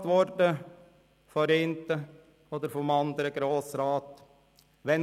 Ich bin ab und zu vom einen oder anderen Grossrat gefragt worden: